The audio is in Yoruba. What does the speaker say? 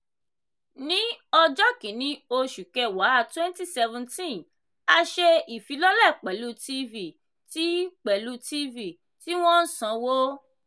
ni ọjọ́ kínní oṣù kẹwàá 2017 a ṣe ìfilọ́lẹ̀ pẹ̀lú tv tí pẹ̀lú tv tí wọ́n ń sanwó.